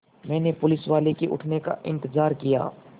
मैंने पुलिसवाले के उठने का इन्तज़ार किया